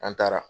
An taara